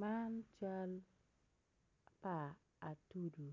Man cal pa atudu